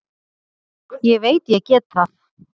Ég veit ég get það.